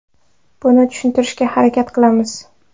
Buni tushuntirishga harakat qilamiz.